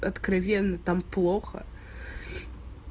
откровенно там плохо